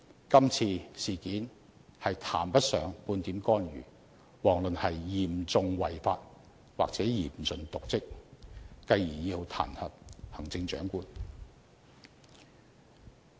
今次事件談不上半點干預，遑論事關嚴重違法或嚴重瀆職而要彈劾行政長官。